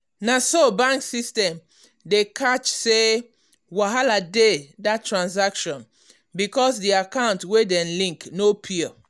na so bank system catch say wahala dey that transaction because the account wey dem link no pure.